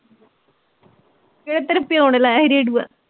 ਕਿਹੜਾ ਤੇਰੇ ਪਿਓ ਨੇ ਲਾਇਆ ਸੀ ਰੇਡਊਆ